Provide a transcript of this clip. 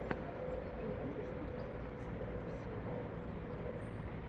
ты можешь показать последнюю серию дотспот